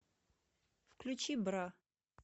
включи бра